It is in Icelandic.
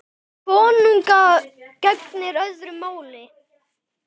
Um konunga gegnir öðru máli.